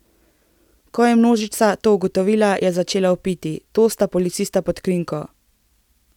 Ko je množica to ugotovila, je začela vpiti: 'To sta policista pod krinko'.